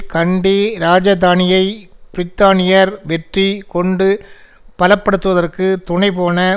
கண்டி இராஜதானியை பிரித்தானியர் வெற்றி கொண்டு பலப்படுத்துவதற்கு துணைபோன